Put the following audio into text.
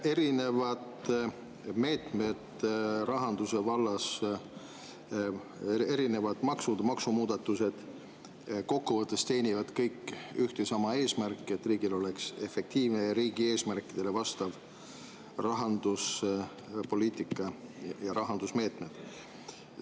Erinevad meetmed rahanduse vallas, erinevad maksud, maksumuudatused kokkuvõttes teenivad kõik ühte ja sama eesmärki, et riigil oleks efektiivne ja riigi eesmärkidele vastav rahanduspoliitika ja rahandusmeetmed.